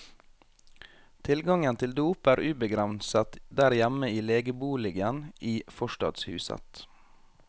Tilgangen til dop er ubegrenset der hjemme i legeboligen i forstadshuset.